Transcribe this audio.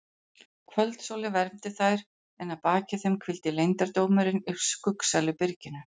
Kvöldsólin vermdi þær en að baki þeim hvíldi leyndardómurinn í skuggsælu byrginu.